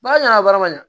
Ba ɲɛna bara ma ɲa